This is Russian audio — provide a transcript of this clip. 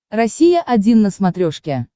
россия один на смотрешке